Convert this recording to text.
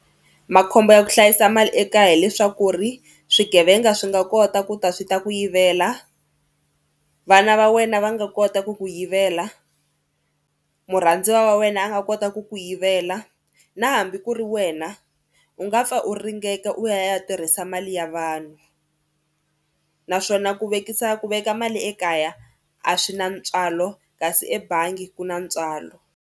Makhombo ya ku hlayisa mali ekaya hileswaku ri swigevenga swi nga kota ku ta swi ta ku yivela, vana va wena va nga kota ku ku yivela, murhandziwa wa wena a nga kota ku ku yivela na hambi ku ri wena u nga pfa u ringeka u ya ya tirhisa mali ya vanhu naswona ku vekisa ku veka mali ekaya a swi na ntswalo kasi ebangi ku na ntswalo.